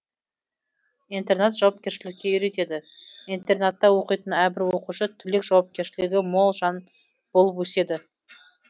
интернат жауапкершілікке үйретеді интернатта оқитын әрбір оқушы түлек жауапкерлшілігі мол жан болып өседі